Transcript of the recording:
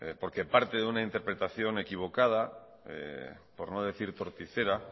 porque parte de la interpretación equivocada por no decirtorticera